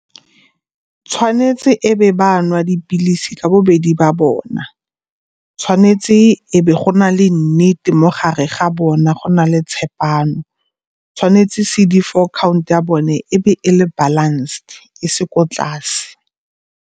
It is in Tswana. Tshwanetse e be ba nwa dipilisi ka bobedi ba bona. Tshwanetse e be go na le nnete mo gare ga bona, go na le tshepano, tshwanetse C_D four count ya bone e be e le balanced e se ko tlase.